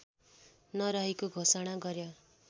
नरहेको घोषणा गर्‍यो